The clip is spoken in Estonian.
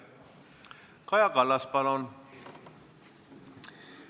Kaja Kallas, palun!